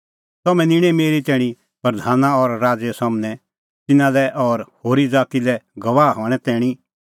तम्हैं निंणै मेरी तैणीं प्रधाना और राज़ैए सम्हनै तिन्नां लै और होरी ज़ाती लै गवाह हणें तैणीं